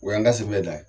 O y'an ka sebe dan ye